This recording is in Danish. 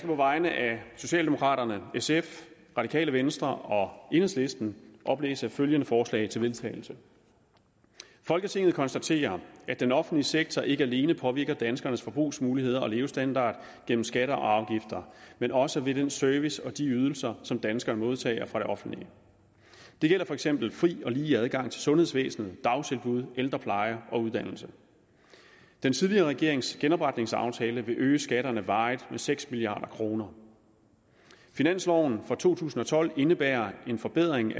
på vegne af socialdemokraterne sf radikale venstre og enhedslisten oplæse følgende forslag til vedtagelse folketinget konstaterer at den offentlige sektor ikke alene påvirker danskernes forbrugsmuligheder og levestandard gennem skatter og afgifter men også ved den service og de ydelser som danskerne modtager fra det offentlige det gælder for eksempel fri og lige adgang til sundhedsvæsenet dagtilbud ældrepleje og uddannelse den tidligere regerings genopretningsaftale vil øge skatterne varigt med seks milliard kroner finansloven for to tusind og tolv indebærer en forbedring